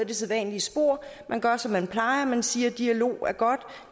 det sædvanlige spor man gør som man plejer man siger at dialog er godt